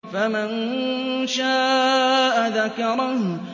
فَمَن شَاءَ ذَكَرَهُ